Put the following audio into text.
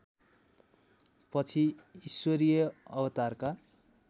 पछि ईश्वरीय अवतारका